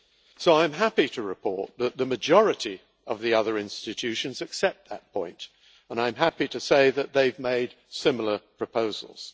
So, I am happy to report that the majority of the other institutions accept that point, and I am happy to say that they have made similar proposals.